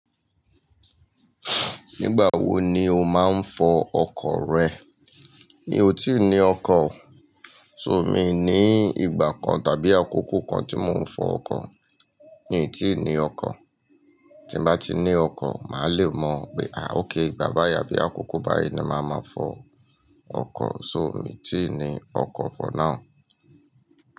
Nígbà wo ni o máa ń fọ ọkọ̀ rẹ? Mi ò tíì ní ọkọ̀. So mi n ní ìgbà kan tàbí àkókò kan tí mò ń fọ ọkọ̀. Mi n tíi ní ọkọ̀. Tí n bá ti ní ọkọ̀, màá le mọ̀ pé, àá ókay ìgbà báyi àbí àkókò báyi ni màá ma fọ ọkọ̀. So mí n tíì ní ọkọ̀ for now.